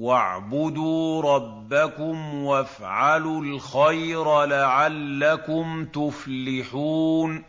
وَاعْبُدُوا رَبَّكُمْ وَافْعَلُوا الْخَيْرَ لَعَلَّكُمْ تُفْلِحُونَ ۩